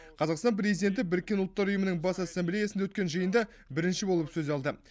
қазақстан президенті біріккен ұлттар ұйымының бас ассамблеясында өткен жиында бірінші болып сөз алды